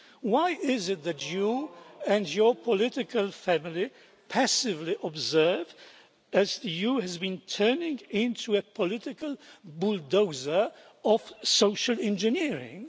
Why is it that you and your political family passively observe while the EU has been turning into a political bulldozer of social engineering?